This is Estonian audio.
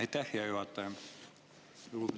Aitäh, hea juhataja!